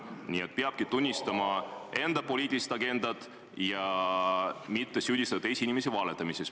Nii et peabki tunnistama enda poliitilist agendat ja mitte süüdistama teisi inimesi valetamises.